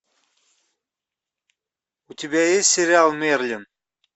у тебя есть сериал мерлин